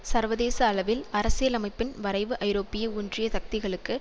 சர்வதேச அளவில் அரசியலமைப்பின் வரைவு ஐரோப்பிய ஒன்றிய சக்திகளுக்கு